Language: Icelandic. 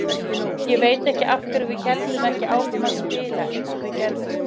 Ég veit ekki af hverju við héldum ekki áfram að spila eins og við gerðum.